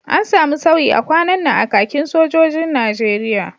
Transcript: An samu sauyi a kwanan nan a kakin sojojin Najeriya